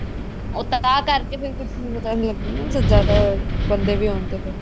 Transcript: ਉਹ ਤਾਂ ਕਰਕੇ ਫ਼ੇਰ ਕੁਛ ਵੀ ਪਤਾ ਨੀ ਲੱਗਿਆ ਹਨਾ ਜਦ ਜਿਆਦਾ ਬੰਦੇ ਵੀ ਹੋਣ ਤਾਂ